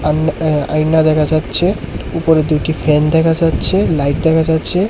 আন-এ-আইনা দেখা যাচ্ছে উপরে দুইটি ফ্যান দেখা যাচ্ছে লাইট দেখা যাচ্ছে।